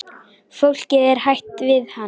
Fólkið er hrætt við hann.